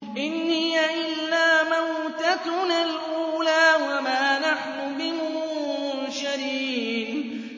إِنْ هِيَ إِلَّا مَوْتَتُنَا الْأُولَىٰ وَمَا نَحْنُ بِمُنشَرِينَ